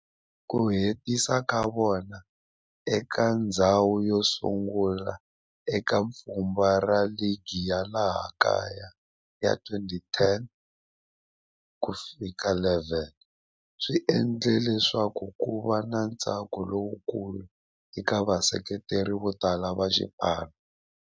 Ku hetisa ka vona eka ndzhawu yosungula eka pfhumba ra ligi ya laha kaya ya 2010-11 swi endle leswaku kuva na ntsako lowukulu eka vaseketeri votala va xipano.